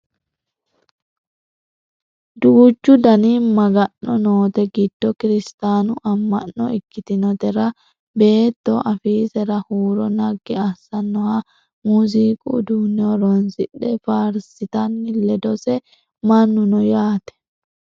duuchu dani maga'no noote giddo kiristaanu amma'no ikkitinotera beetto afiisera huuro naggi assannoha muziiqu uduunne horonsidhe faarsitanna ledose mannu no yaate